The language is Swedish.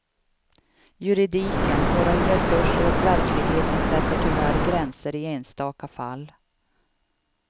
Juridiken, våra resurser och verkligheten sätter tyvärr gränser i enstaka fall.